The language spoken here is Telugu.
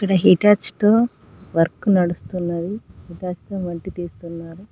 ఇక్కడ హిటాచి తో వర్క్ నడుస్తున్నది హిటాచి తో మట్టి తీస్తున్నారు.